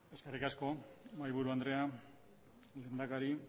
eskerrik asko mahaiburu andrea lehendakari